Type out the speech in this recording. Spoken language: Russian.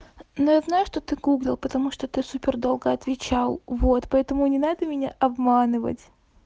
ну знаю что ты гуглил потому что ты супер долго отвечал вот поэтому не надо меня обманывать